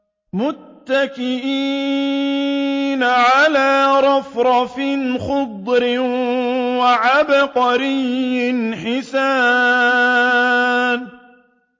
مُتَّكِئِينَ عَلَىٰ رَفْرَفٍ خُضْرٍ وَعَبْقَرِيٍّ حِسَانٍ